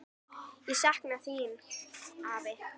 Ég sakna þín, afi.